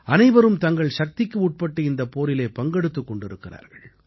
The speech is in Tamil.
அனைவரும் தங்களது சக்திக்கு உட்பட்டு இந்தப் போரிலே பங்கெடுத்துக் கொண்டு இருக்கிறார்கள்